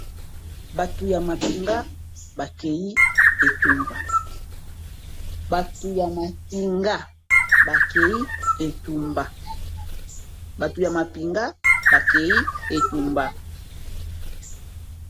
Batu ya mapinga bakei etumba.